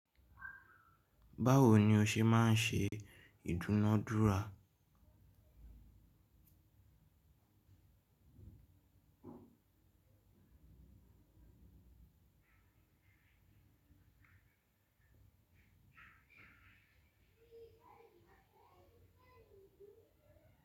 Báwo ni o ṣe máa ń ṣe ìdúnadúrà?